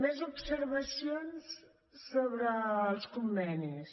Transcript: més observacions sobre els convenis